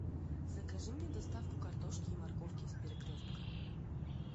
закажи мне доставку картошки и морковки из перекрестка